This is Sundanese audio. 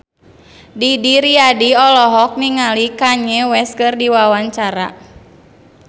Didi Riyadi olohok ningali Kanye West keur diwawancara